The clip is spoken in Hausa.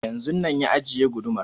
Yanzun ya ajiye gudumar